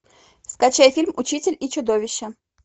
скачай фильм учитель и чудовище